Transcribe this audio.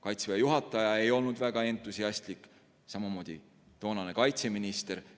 Kaitseväe juhataja ei olnud väga entusiastlik, samuti toonane kaitseminister.